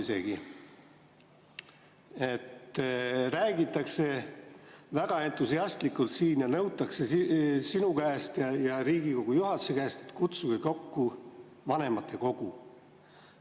Siin räägitakse väga entusiastlikult ja nõutakse sinu käest ja Riigikogu juhatuse käest, et kutsuge kokku vanematekogu.